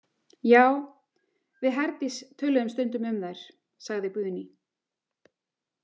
Já, við Herdís töluðum stundum um þær, sagði Guðný.